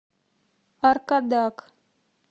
аркадак